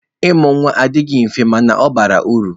Ịmụ nwa adịghị mfe mana ọ bara uru.